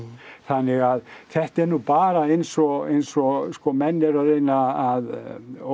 þannig að þetta er nú bara eins og eins og sko menn eru að reyna að